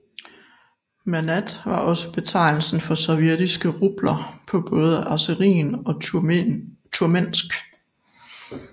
Manat var også betegnelsen for sovjetiske rubler på både azeri og turkmensk